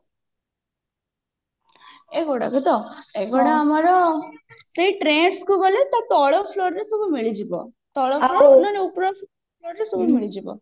ଏଇଗୁଡାକ ତ ଏଇଗୁଡା ଆମର ସେଇ trends କୁ ଗଲେ ତା ତଳ floor ରେ ସବୁ ମିଳିଯିବ ଉପର floor ରେ ସବୁ ମିଳିଯିବ